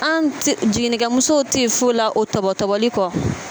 An jiginnikɛmuso tɛ foyi la o tɔtɔtɔbɔli kɔ.